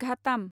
घाटाम